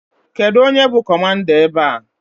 Kedụ onye bụ kọmanda ebe a?